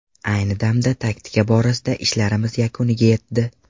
Ayni damda taktika borasida ishlarimiz yakuniga yetdi.